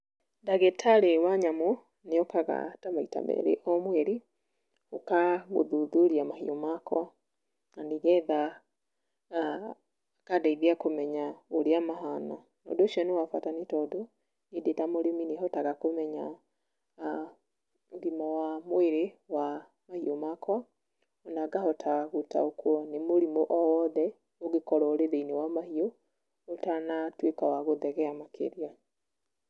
Ndagĩtarĩ wa nyamũ nĩ okaga ta maita merĩ o mweri, gũka gũthuthuria mahiũ makwa, na nĩgetha akandeithia kũmenya ũria mahana, ũndũ ũcio nĩ wabata, tondũ niĩ ndĩ ta mũrĩmi nĩhotaga kũmenya ũgĩma wa mwĩrĩ wa mahiũ makwa, ona ngahota gũtaũkwo nĩ mũrimũ o wothe ũngĩkorwo wĩ thĩiniĩ wa mahiũ, ũtanatuĩka wa gũthegea makĩria.